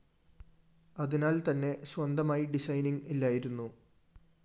അതിനാല്‍ത്തന്നെ സ്വന്തമായി ഡിസൈനിങ്‌ ഇല്ലായിരുന്നു